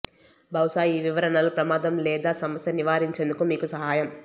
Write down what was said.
బహుశా ఈ వివరణలు ప్రమాదం లేదా సమస్య నివారించేందుకు మీకు సహాయం